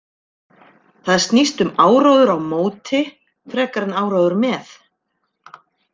Það snýst um áróður á móti frekar en áróður með.